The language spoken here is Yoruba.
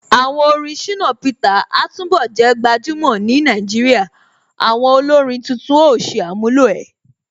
Àwọn orin Shina Peter a túnbọ̀ jẹ́ gbajúmọ̀ ni Nàìjíríà, àwọn olórin títún ó ṣe àmúlò ẹ̀.